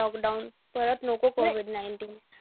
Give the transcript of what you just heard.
lockdown. परत नको COVID nineteen.